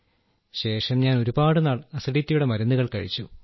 ശേഷം ഞാൻ ഒരുപാട് നാൾ അസിഡിറ്റിയുടെ മരുന്നുകൾ കഴിച്ചു